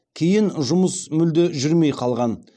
кейін жұмыс мүлде жүрмей қалған